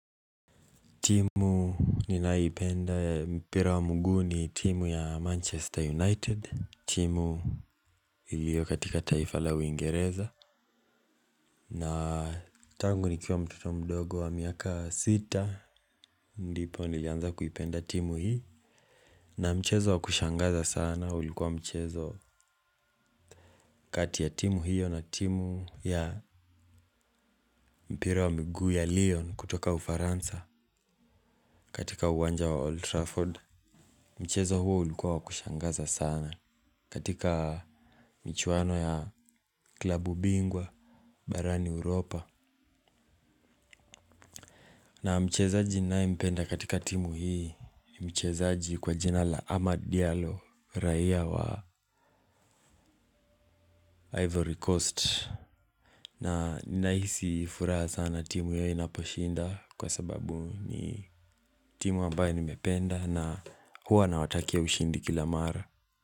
Timu ninayo ipenda ya mpira wa mguu ni timu ya Manchester United. Timu iliyo katika taifa la uingereza. Na tangu nikiwa mtoto mdogo wa miaka sita. Ndipo nilianza kuipenda timu hii. Na mchezo wa kushangaza sana ulikuwa mchezo kati ya timu hiyo na timu ya mpira wa miguu ya Lyon kutoka ufaransa katika uwanja wa Old Trafford. Mchezo huo ulikuwa wa kushangaza sana. Katika michuwano ya klubu bingwa, Barani Europa. Na mchezaji ninaye mpenda katika timu hii ni mchezaji kwa jina la Ahmad Diallo. Raia wa Ivory Coast. Na ninahisi furaha sana timu hiyo inaposhinda. Kwa sababu ni timu ambayo nimependa huwa nawatakia ushindi kila mara.